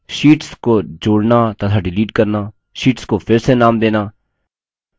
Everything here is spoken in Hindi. शीट्स को जोड़ना तथा डिलीट करना शीट्स को फिर से नाम देना